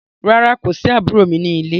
Rárá, kò sí àbúrò mi ní lé.